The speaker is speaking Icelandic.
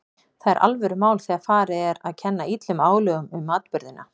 Það er alvörumál þegar farið er að kenna illum álögum um atburðina.